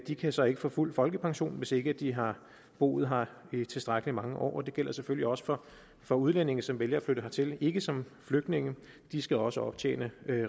de kan så ikke få fuld folkepension hvis ikke de har boet her i tilstrækkelig mange år og det gælder selvfølgelig også for for udlændinge som vælger at flytte hertil ikke som flygtninge de skal også optjene